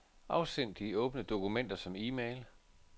Afsend de åbne dokumenter som e-mail.